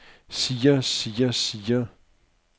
siger siger siger